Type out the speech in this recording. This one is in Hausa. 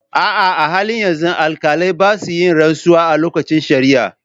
A'a, a halin yanzu, alkalai ba sa yin rantsuwa a lokacin shari'a.